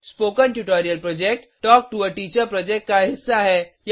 spoken tutorial project talk to a teacher project का हिस्सा है